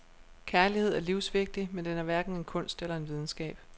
Kærlighed er livsvigtig, men den er hverken en kunst eller en videnskab.